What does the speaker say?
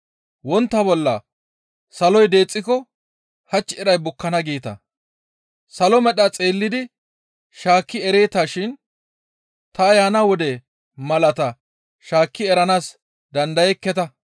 Wontta bolla, ‹Saloy deexxiko hach iray bukkana› geeta; salo medha xeellidi shaakki ereeta shin ta yaana wode malaata shaakki eranaas dandayekketa.